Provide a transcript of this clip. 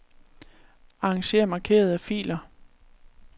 Arranger markerede filer.